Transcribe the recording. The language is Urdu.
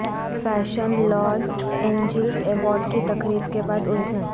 فیشن لاس اینجلس ایوارڈز کی تقریب کے بعد الجھن